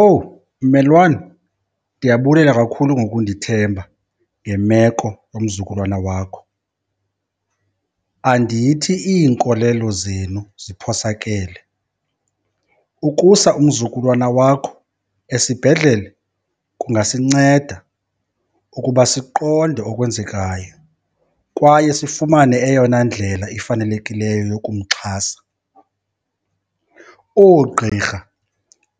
Owu mmelwane, ndiyabulela kakhulu ngokundithemba ngemeko yomzukulwana wakho. Andithi iinkolelo zenu ziphosakele, ukusa umzukulwana wakho esibhedlele kungasinceda ukuba siqonde okwenzekayo kwaye sifumane eyona ndlela ifanelekileyo yokumxhasa. Oogqirha